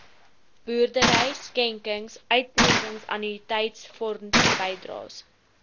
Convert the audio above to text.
boerdery skenkings uittredingannuïteitsfondsbydraes